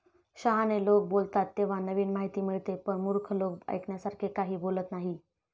शहाणे लोक बोलतात तेव्हा नवीन माहिती मिळते. पण मूर्ख लोक ऐकण्यासारखे काही बोलत नाहीत.